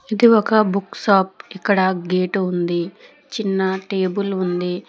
ఇది ఒక book shop ఇక్కడ గేటు ఉంది చిన్న టేబుల్ ఉంది.